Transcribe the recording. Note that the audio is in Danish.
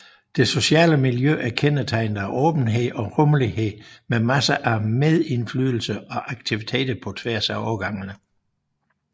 Det sociale miljø er kendetegnet af åbenhed og rummelighed med masser af medindflydelse og aktiviteter på tværs af årgangene